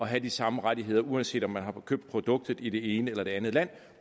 have de samme rettigheder uanset om man har købt produktet i det ene eller det andet land